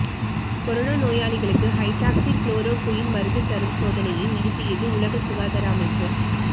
corona நோயாளிகளுக்கு hydroxychloroquine மருந்து தரும் சோதனையை நிறுத்தியது உலக சுகாதார அமைப்பு